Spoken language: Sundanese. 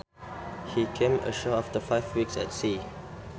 He came ashore after five weeks at sea